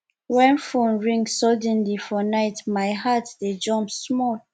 wen phone ring suddenly for night my heart dey jump small